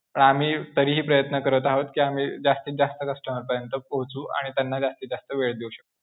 आम्ही तरीही प्रयत्न करत आहोत कि आम्ही जास्तीजास्त customer पर्यंत पोहोचू आणि त्यांना जास्तीजास्त वेळ देऊ शकू.